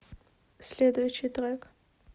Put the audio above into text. следующий трек